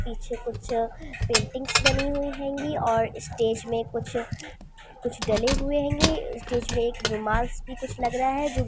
पीछे कुछ पेंटिंग्स बनी हुई होंगी और स्टेज में कुछ कुछ डेल हुए होंगी स्टेज में एक रूमाल्स भी कुछ लग रहा है जो --